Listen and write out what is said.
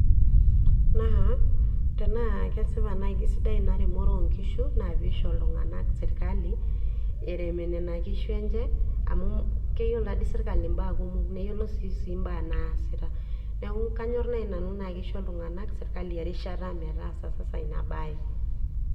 Naa tenaa kesipa nai nakesidai ina remore onkishu na peisho ltunganak serkali erem nona kishu enye amu keyiolo taatoi serkali mbaa kumok ,neyiolo sii mbaa naasita, neaku kanyor nai nanu tanaa kisho ltunganak serkali erishata metaasa ina bae.